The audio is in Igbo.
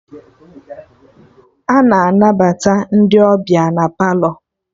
Ana anabata ndị ọbịa na Palọ